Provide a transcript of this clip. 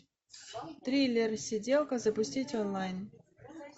триллер сиделка запустить онлайн